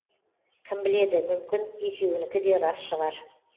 кім біледі мүмкін екеуінікі де рас шығар